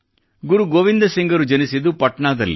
ಗುರು ಗೋವಿಂದ ಸಿಂಗರು ಜನಿಸಿದ್ದು ಪಟ್ನಾದಲ್ಲಿ